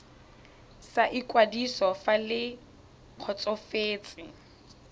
sa ikwadiso fa le kgotsofetse